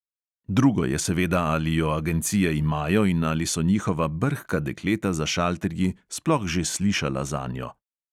Drugo je seveda, ali jo agencije imajo in ali so njihova brhka dekleta za šalterji sploh že slišala zanjo.